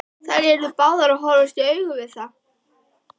Þær yrðu báðar að horfast í augu við það.